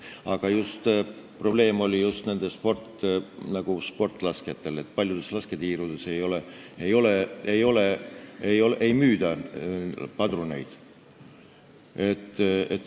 Aga probleem on just sportlaskjatel, sest paljudes lasketiirudes padruneid ei müüda.